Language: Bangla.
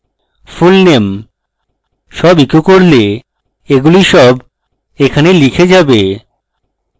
fullname সব ইকো করলে এগুলি সব এখানে লিখে যাবে